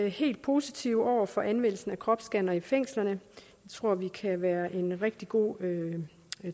helt positive over for anvendelsen af kropsscannere i fængslerne det tror vi kan være en rigtig god